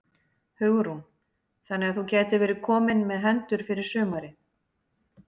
Hugrún: Þannig að þú gætir verið kominn með hendur fyrir sumarið?